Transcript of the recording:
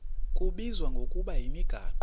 kubizwa ngokuba yimigaqo